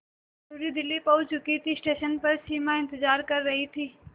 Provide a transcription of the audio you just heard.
मयूरी दिल्ली पहुंच चुकी थी स्टेशन पर सिमा इंतेज़ार कर रही थी